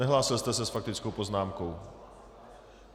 Nehlásil jste se s faktickou poznámkou?